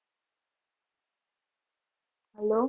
hello